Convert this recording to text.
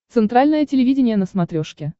центральное телевидение на смотрешке